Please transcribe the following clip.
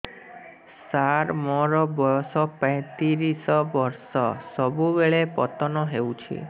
ସାର ମୋର ବୟସ ପୈତିରିଶ ବର୍ଷ ସବୁବେଳେ ପତନ ହେଉଛି